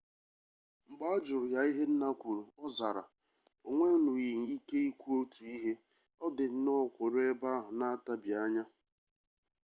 mgbe a jụrụ ya ihe nna kwuru ọ zara o nwenwughị ike ikwu otu ihe ọ dị nnọọ kwụrụ ebe ahụ na-atabianya